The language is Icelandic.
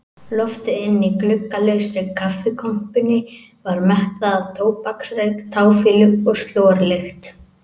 Loftið inni í gluggalausri kaffikompunni var mettað af tóbaksreyk, táfýlu og slorlykt.